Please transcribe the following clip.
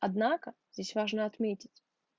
однако здесь важно отметить